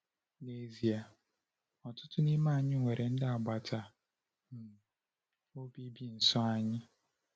N’ezie, ọtụtụ n’ime anyị nwere ndị agbata um obi bi nso anyị.